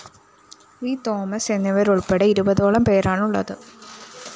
V Thomas എന്നിവരുള്‍പ്പെടെ ഇരുപതോളം പേരാണുള്ളത്